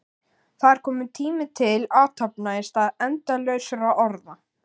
Það er kominn tími til athafna í stað endalausra orða.